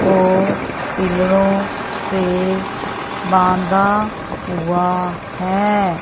वो पिलरों से बांधा हुआ है।